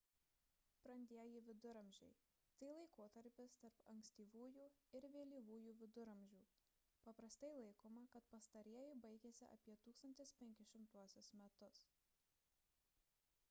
brandieji viduramžiai – tai laikotarpis tarp ankstyvųjų ir vėlyvųjų viduramžių paprastai laikoma kad pastarieji baigėsi apie 1500 metus